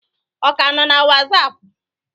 Ọ ka nọ na Wasapụ?